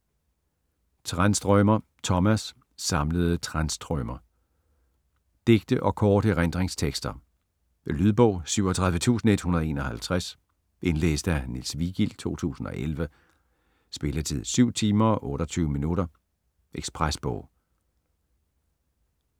Tranströmer, Tomas: Samlede Tranströmer Digte og korte erindringstekster. Lydbog 37151 Indlæst af Niels Vigild, 2011. Spilletid: 7 timer, 28 minutter. Ekspresbog